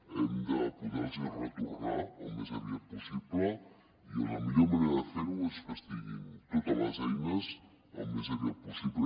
hem de poder los ho retornar el més aviat possible i la millor manera de fer ho és que es tinguin totes les eines al més aviat possible